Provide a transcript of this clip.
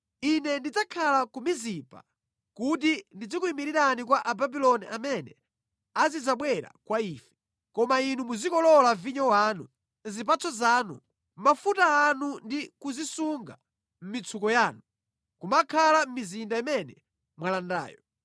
Ine ndidzakhala ku Mizipa kuti ndizikuyimirirani kwa Ababuloni amene azidzabwera kwa ife, koma inu muzikolola vinyo wanu, zipatso zanu, mafuta anu ndi kuzisunga mʼmitsuko yanu, nʼkumakhala mʼmizinda imene mwalandayo.”